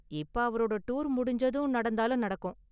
இப்ப அவரோட டூர் முடிஞ்சதும் நடந்தாலும் நடக்கும்.